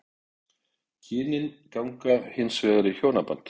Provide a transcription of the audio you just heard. Kynin ganga hins vegar í hjónaband.